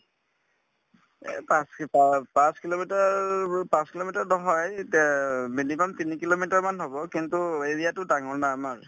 এই পাঁচ পাঁচ kilometer ব পাঁচ kilometer নহয় minimum তিনি kilometer মান হব কিন্তু area তো ডাঙৰ না আমাৰ